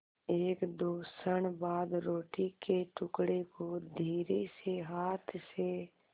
एकदो क्षण बाद रोटी के टुकड़े को धीरेसे हाथ से